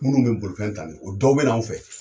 Munnu be bolifɛn ta ni o dɔw be na anw fɛ.